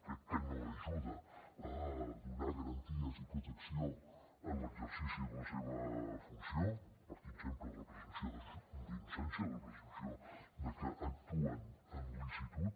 crec que no ajuda a donar garanties i protecció en l’exercici de la seva funció partint sempre de la presumpció d’innocència de la presumpció de que actuen en licitud